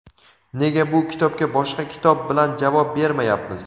nega bu kitobga boshqa kitob bilan javob bermayapmiz.